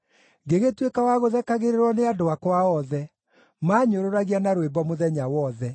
Ngĩgĩtuĩka wa gũthekagĩrĩrwo nĩ andũ akwa othe; maanyũrũragia na rwĩmbo mũthenya wothe.